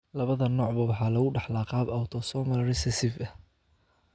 Labada noocba waxa lagu dhaxlaa qaab autosomal recessive ah.